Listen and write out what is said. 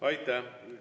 Aitäh!